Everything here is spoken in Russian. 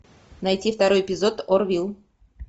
найти второй эпизод орвилл